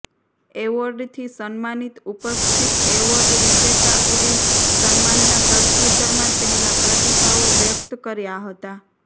એવોર્ડથી સન્માનિત ઉપસ્થિત એવોર્ડ વિજેતાઓએ સન્માનના પ્રત્યુતરમાં તેમના પ્રતિભાવો વ્યક્ત કર્યા હતા